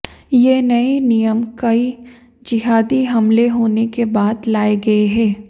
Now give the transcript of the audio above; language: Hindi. ये नए नियम कई जिहादी हमले होने के बाद लाए गए हैं